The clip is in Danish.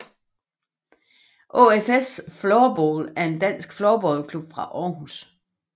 ÅFS Floorball er en dansk floorballklub fra Aarhus